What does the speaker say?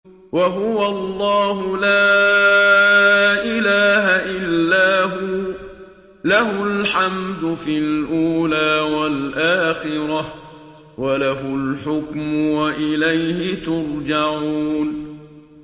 وَهُوَ اللَّهُ لَا إِلَٰهَ إِلَّا هُوَ ۖ لَهُ الْحَمْدُ فِي الْأُولَىٰ وَالْآخِرَةِ ۖ وَلَهُ الْحُكْمُ وَإِلَيْهِ تُرْجَعُونَ